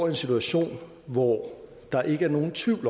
en situation hvor der ikke er nogen tvivl